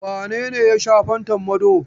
Wane ne ya sha fantan Mado?